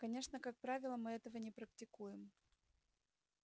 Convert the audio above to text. конечно как правило мы этого не практикуем